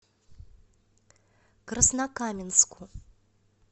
краснокаменску